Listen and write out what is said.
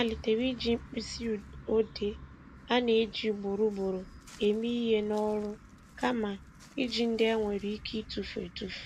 Ọ malitere iji mkpịsị odee a na-eji ugboro ugboro eme ihe n'ọrụ kama iji ndị e nwere ike ịtufu etufu